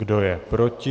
Kdo je proti?